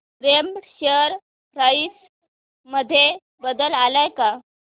Raymond share price मध्ये बदल आलाय का